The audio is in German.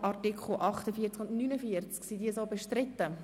Sind die Artikel 48 und 49 bestritten?